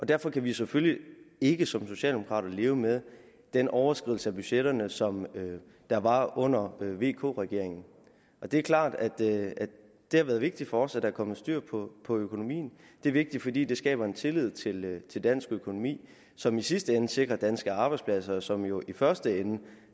derfor kan vi selvfølgelig ikke som socialdemokrater leve med den overskridelse af budgetterne som der var under vk regeringen det er klart at det har været vigtigt for os at der er kommet styr på økonomien det er vigtigt fordi det skaber en tillid tillid til dansk økonomi som i sidste ende sikrer danske arbejdspladser som jo i første ende